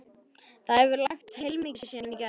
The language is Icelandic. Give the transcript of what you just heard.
Það hefur lægt heilmikið síðan í gær.